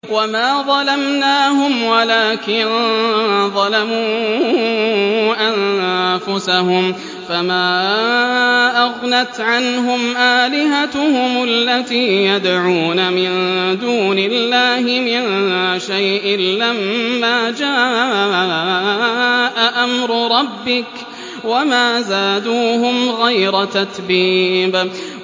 وَمَا ظَلَمْنَاهُمْ وَلَٰكِن ظَلَمُوا أَنفُسَهُمْ ۖ فَمَا أَغْنَتْ عَنْهُمْ آلِهَتُهُمُ الَّتِي يَدْعُونَ مِن دُونِ اللَّهِ مِن شَيْءٍ لَّمَّا جَاءَ أَمْرُ رَبِّكَ ۖ وَمَا زَادُوهُمْ غَيْرَ تَتْبِيبٍ